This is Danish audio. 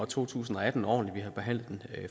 to tusind og atten ordentligt vi har behandlet den